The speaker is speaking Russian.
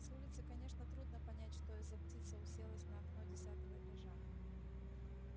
с улицы конечно трудно понять что и за птица уселась на окно десятого этажа